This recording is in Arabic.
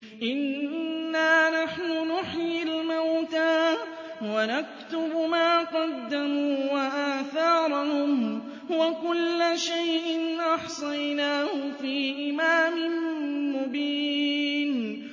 إِنَّا نَحْنُ نُحْيِي الْمَوْتَىٰ وَنَكْتُبُ مَا قَدَّمُوا وَآثَارَهُمْ ۚ وَكُلَّ شَيْءٍ أَحْصَيْنَاهُ فِي إِمَامٍ مُّبِينٍ